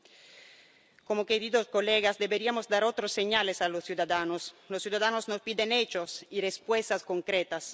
y nosotros, señorías, deberíamos dar otras señales a los ciudadanos. Los ciudadanos nos piden hechos y respuestas concretas.